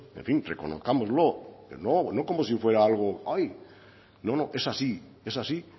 en fin reconozcámoslo no como si fuera algo no es así